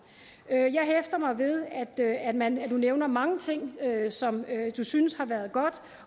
jeg at man nævner mange ting som man synes har været godt